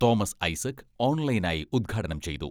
Thomas Isaac ഓൺലൈനായി ഉദ്ഘാടനം ചെയ്തു.